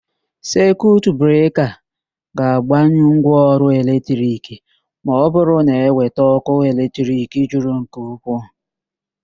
Sekiut breka ga-agbanyụ ngwaọrụ eletrik ma ọbụrụ na eweta ókụ́ eletrik juru eju nke ukwuu.